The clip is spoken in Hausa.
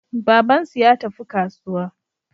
Babansu ya tafi kasuwa.